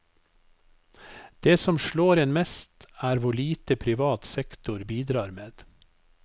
Det som slår en mest, er hvor lite privat sektor bidrar med.